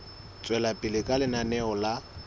tswela pele ka lenaneo la